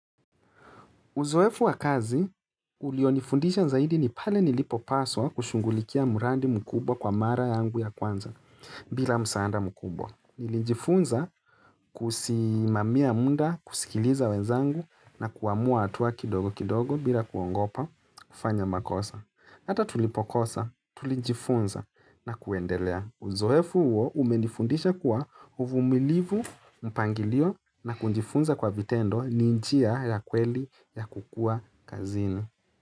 Uzoefu wa kazi, ulionifundisha zaidi ni pale nilipopaswa kushungulikia murandi mkubwa kwa mara yangu ya kwanza bila msaada mkubwa. Nilijifunza kusimamia munda kusikiliza wenzangu na kuamua atua kidogo kidogo bila kuongopa kufanya makosa. Ata tulipokosa, tulijifunza na kuendelea. Uzoefu uo umenifundisha kuwa uvumilivu mpangilio na kunjifunza kwa vitendo ni nchia ya kweli ya kukua kazini.